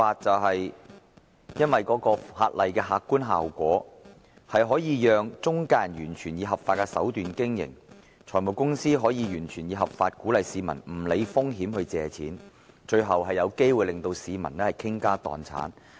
法例的客觀效果，就是中介人可以完全以合法手段經營，財務公司亦可以完全合法地鼓勵市民無須理會風險，向他們借貸，最後有機會令市民傾家蕩產。